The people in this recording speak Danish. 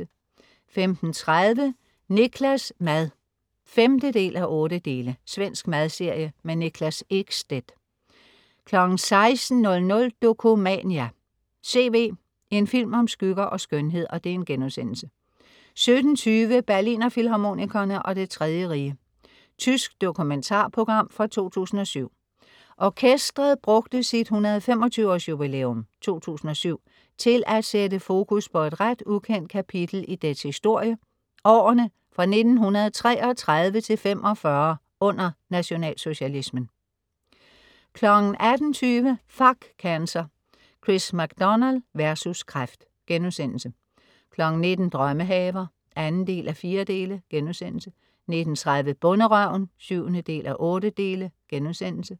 15.30 Niklas' mad 5:8. Svensk madserie. Niklas Ekstedt 16.00 Dokumania: C.V., en film om skygger og skønhed* 17.20 Berlinerfilharmonikerne og Det Tredje Rige. Tysk dokumentarprogram fra 2007. Orkestret brugte sit 125 års jubilæum (2007) til at sætte fokus på et ret ukendt kapitel i dets historie, årene fra 1933 til 1945 under Nationalsocialismen 18.20 Fuck Cancer. Chris MacDonald vs. Kræft* 19.00 Drømmehaver 2:4* 19.30 Bonderøven 7:8*